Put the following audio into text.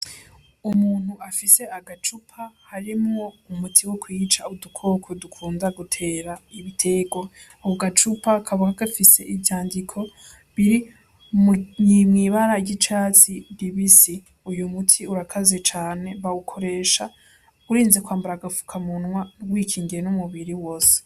Umuntu afise agacupa harimwo umuti wokwica udukoko dukunda gutera ibitegwa, ako gacupa kaba gafise ivyandiko biri mw'ibara ry'icatsi ribisi uyumuti urakaze cane bawukoresha urinze kwambara agafukamunwa wikingiye n'umubiri wose.